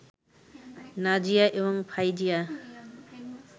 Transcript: নাজিয়া এবং ফাইজিয়া